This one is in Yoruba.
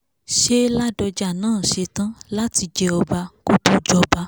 ṣe ládọ́jà náà ṣetán láti jẹ́ ọba kó tó jọba